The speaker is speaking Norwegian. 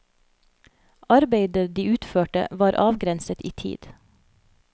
Arbeidet de utførte var avgrenset i tid.